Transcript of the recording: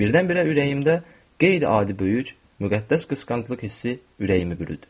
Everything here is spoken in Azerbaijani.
Birdən-birə ürəyimdə qeyri-adi böyük, müqəddəs qısqanclıq hissi ürəyimi bürüdü.